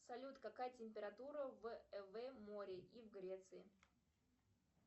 салют какая температура в море и в греции